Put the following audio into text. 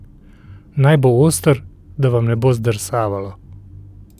Naj bo oster, da vam ne bo zdrsavalo.